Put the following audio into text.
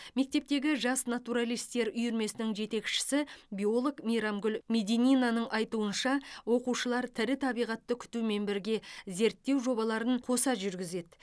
мектептегі жас натуралистер үйірмесінің жетекшісі биолог мейрамгүл медининаның айтуынша оқушылар тірі табиғатты күтумен бірге зерттеу жобаларын қоса жүргізеді